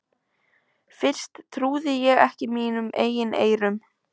Fyrst trúði ég ekki mínum eigin eyrum.